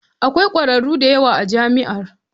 Akwai kwararru da yawa a jami'a.